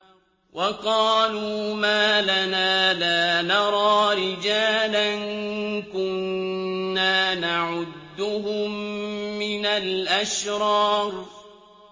وَقَالُوا مَا لَنَا لَا نَرَىٰ رِجَالًا كُنَّا نَعُدُّهُم مِّنَ الْأَشْرَارِ